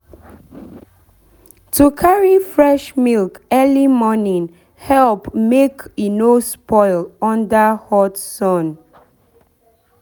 to carry fresh milk early morning help make e no spoil under hot sun.